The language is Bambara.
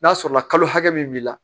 N'a sɔrɔla kalo hakɛ min b'i la